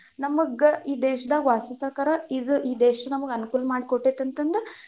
ನಮಗ ಈ ದೇಶದಾಗ ವಾಸಿಸಕಾರೇ ಇದ್ ಈ ದೇಶ ನಮ್ಗೆ ಅನುಕೂಲ ಮಾಡಿ ಕೊಟ್ಟೇತಿ ಅಂತಂದು.